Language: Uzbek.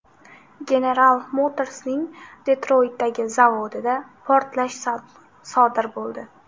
General Motors’ning Detroytdagi zavodida portlash sodir bo‘ldi.